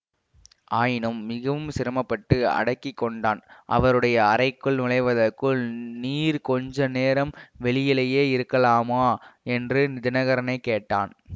ஆயினும் மிகவும் சிரமப்பட்டு அடக்கி கொண்டான் அவருடைய அறைக்குள் நுழைவதற்குள் நீர் கொஞ்ச நேரம் வெளியிலேயே இருக்கலாமா என்று தினகரனைக் கேட்டான்